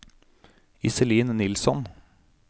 Iselin Nilsson